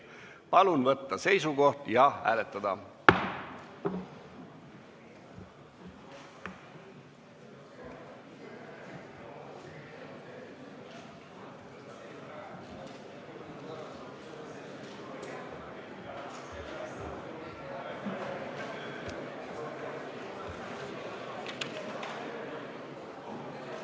Palun võtta seisukoht ja hääletada!